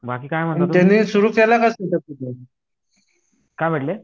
बाकी काय म्हणणं काय म्हटले